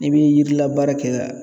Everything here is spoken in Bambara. N'i bi yirila baara kɛ la